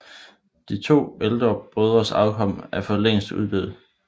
De to ældre brødres afkom er for længst uddød